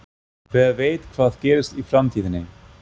Hver veit hvað gerist í framtíðinni?